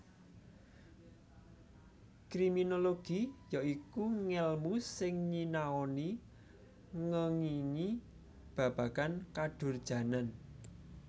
Kriminologi ya iku ngèlmu sing nyianoni ngèngingi babagan kadurjanan